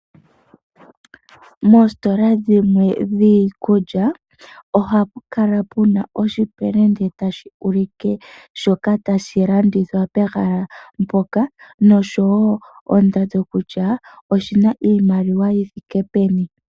Moositola dhimwe dhiikulya ohapu kala puna oshipelende tashi ulike shoka tashi landithwa pehala mpoka noshowo ondando kutya oshina iimaliwa yi thike peni.